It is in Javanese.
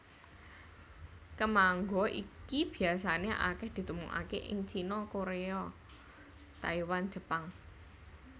Kemangga iki biasané akèh ditemokaké ing Cina Koréa Taiwan Jepang